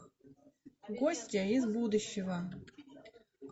гостья из будущего